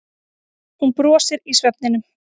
Hún brosir í svefninum.